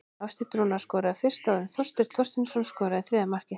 Hafsteinn Rúnar skoraði fyrst áður en Þorsteinn Þorsteinsson skoraði þriðja markið.